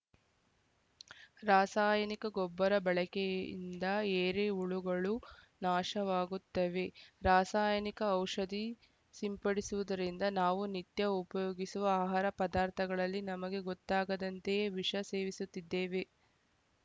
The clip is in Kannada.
ರಾಸಾಯನಿಕ ಗೊಬ್ಬರ ಬಳಕೆಯಿಂದ ಏರೆಹುಳುಗಳು ನಾಶವಾಗುತ್ತವೆ ರಾಸಾಯನಿಕ ಔಷಧಿ ಸಿಂಪಡಿಸುವುದರಿಂದ ನಾವು ನಿತ್ಯ ಉಪಯೋಗಿಸುವ ಆಹಾರ ಪದಾರ್ಥಗಳಲ್ಲಿ ನಮಗೆ ಗೊತ್ತಾಗದಂತೆಯೇ ವಿಷ ಸೇವಿಸುತ್ತಿದ್ದೇವೆ